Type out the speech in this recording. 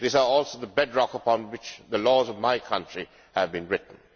They are also the bedrock upon which the laws of my country have been written.